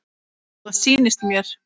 Það sýnist mér.